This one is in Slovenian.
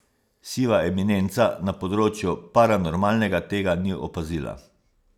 Siva eminenca na področju paranormalnega tega ni opazila.